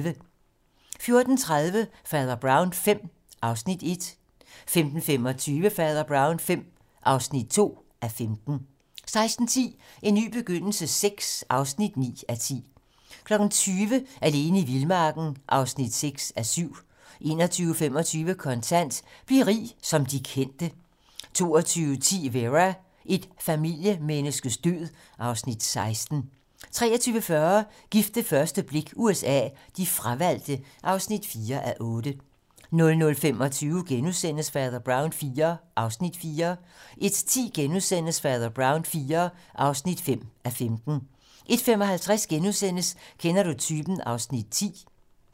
14:30: Fader Brown V (1:15) 15:25: Fader Brown V (2:15) 16:10: En ny begyndelse VI (9:10) 20:00: Alene i vildmarken (6:7) 21:25: Kontant: Bliv rig som de kendte 22:10: Vera: Et familiemenneskes død (Afs. 16) 23:40: Gift ved første blik USA: De fravalgte (4:8) 00:25: Fader Brown IV (4:15)* 01:10: Fader Brown IV (5:15)* 01:55: Kender du typen? (Afs. 10)*